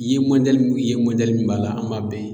I ye mɔdɛli min ye mɔdɛli min b'a la an b'a bɛɛ ye